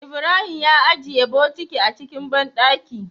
Ibrahim ya ajiye bokiti a cikin banɗaki